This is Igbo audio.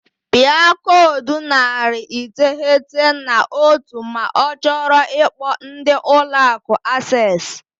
Pịa koodu narị iteghete na otu ma ọ chọọ ikpo ndị Ụlọ Akụ Access.